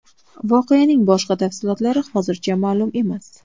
Voqeaning boshqa tafsilotlari hozircha ma’lum emas.